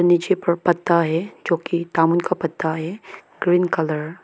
नीचे पर पत्ता है जो की दामुन का पत्ता है ग्रीन कलर --